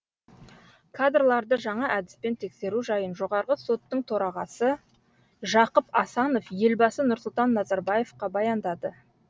кадрларды жаңа әдіспен тексеру жайын жоғарғы соттың төрағасы жақып асанов елбасы нұрсұлтан назарбаевқа баяндады